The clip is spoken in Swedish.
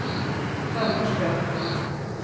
Hammarström